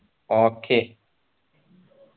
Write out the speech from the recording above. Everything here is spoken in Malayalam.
okay